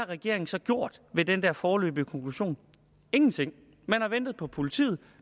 regeringen så gjort ved den foreløbige konklusion ingenting man har ventet på politiet